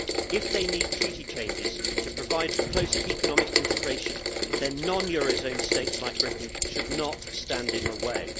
If they need Treaty changes to provide for closer economic integration, then non eurozone states like Britain should not stand in the way.